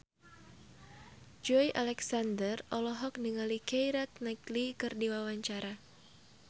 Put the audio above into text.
Joey Alexander olohok ningali Keira Knightley keur diwawancara